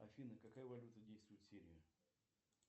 афина какая валюта действует в сирии